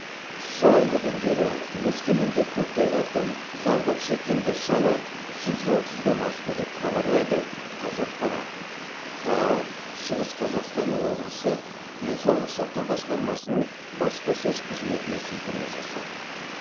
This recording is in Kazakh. соңғы күндері өскеменде көктайғақтан зардап шеккендер саны жүз отыздан асты деп хабарлайды қазақпарат хаа шығыс қазақстан облысы денсаулық сақтау басқармасының баспасөз қызметіне сілтеме жасап